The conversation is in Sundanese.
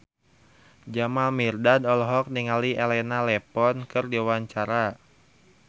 Jamal Mirdad olohok ningali Elena Levon keur diwawancara